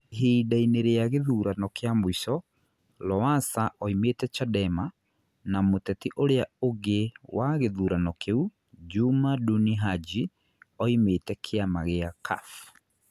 Ihinda-inĩ rĩa gĩthurano kĩa mũico, Lowassa oimĩte Chadema, na mũteti ũrĩa ũngĩ wa gĩthurano kĩu, Juma Duni Haji, oimĩte kĩama kĩa Cuf.